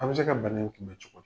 An bɛ se ka ban in kun bɛ cogo di?